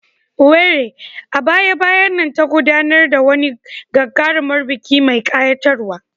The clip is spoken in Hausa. Owerri, a baya-bayan nan, ta gudanar da wani gagarumin biki mai ƙayatarwa.